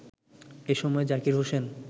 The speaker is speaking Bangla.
এ সময় জাকির হোসেন